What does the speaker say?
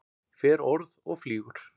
Fer orð og flýgur.